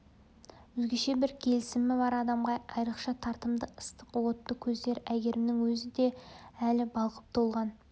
өзгеше бір келісімі бар адамға айрықша тартымды ыстық отты көздер әйгерімнің өзі де әлі балқып толған